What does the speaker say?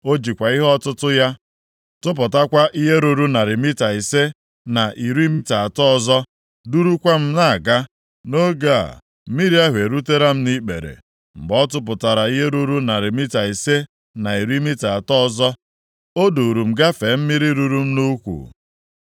O jikwa ihe ọtụtụ ya tụpụtakwa ihe ruru narị mita ise na iri mita atọ ọzọ, durukwa m na-aga. Nʼoge a, mmiri ahụ erutela m nʼikpere. Mgbe ọ tụpụtara ihe ruru narị mita ise na iri mita atọ ọzọ, o duuru m gafee mmiri ruru m nʼukwu.